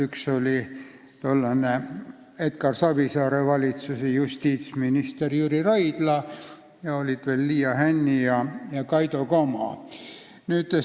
Üks oli tollane Edgar Savisaare valitsuse justiitsminister Jüri Raidla ja siis olid seal veel kahe erakonna esindajad Ülemnõukogus Liia Hänni ja Kaido Kama.